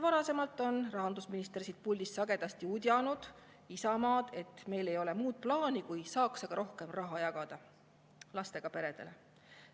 Varasemalt on rahandusminister siit puldist sagedasti udjanud Isamaad, et meil ei olevat muud plaani, kui saaks aga rohkem raha jagada lastega peredele.